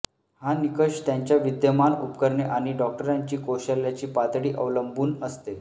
हा निकष त्यांच्या विद्यमान उपकरणे आणि डॉक्टरांची कौशल्याची पातळी अवलंबून असते